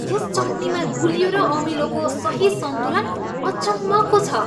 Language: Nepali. यस चटनीमा गुलियो र अमिलोको सही सन्तुलन अचम्मको छ।